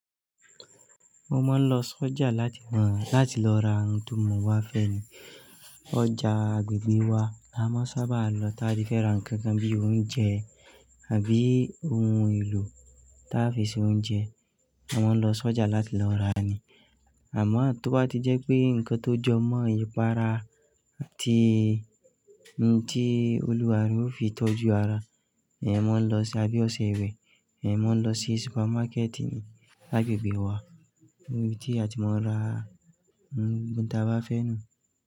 Mo máa ń lọ sójà láti, láti lọ ra ohun tí mo bá fẹ́ ni. Ọjà agbègbè wa, a máa sábà lọ tá ba fẹ́ra ǹkan kan bí i oúnjẹ àbí ohun èlò tá fi ṣe oúnjẹ. A máa ń lọ sójà láti lọ rà ni. Àmọ́ tó bá ti jẹ́ pé nǹkan tó jọ mọ́ ipara, tí, tí olùwà re ó fi tọ́jú ara, ẹ máa ń lọ sí, àbí ọṣẹ ìwẹ̀, ẹ máa ń lọ sí supermarket ni agbègbè wa níbi tí a ti máa ń ra ohun tí a bá fẹ́ lo.